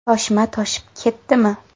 Toshma toshib ketdimi?